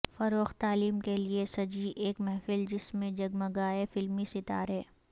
فروغ تعلیم کے لئے سجی ایک محفل جس میں جگمگائے فلمی ستارے